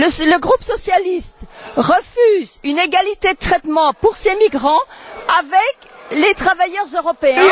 Le groupe socialiste refuse une égalité de traitement pour ces migrants avec les travailleurs européens.